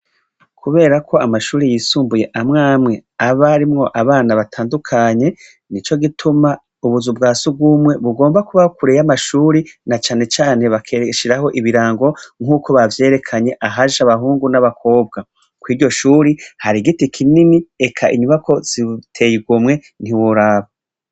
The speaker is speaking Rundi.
Kubera ko amashure yisumbuye amw'amwe aba arimwo abana batandukanye, nico gituma ubuzu bwa surwumwe bugomba kuba kure y'amashure, na cane cane bagashiraho ibirango nk'uko bavyerekanye ahaja abahungu n'abakobwa. Kw'iryo shuri, hari igiti kinini, eka inyubako ziteye igomwe ntiworaba.